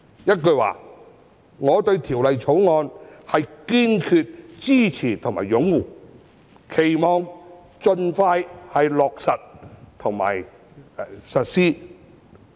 一句說話，我堅決支持和擁護《條例草案》，期望能夠盡快落實和實施。